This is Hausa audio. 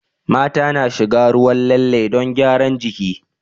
Mata na shiga ruwan lalle don gyaran jiki